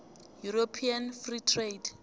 european free trade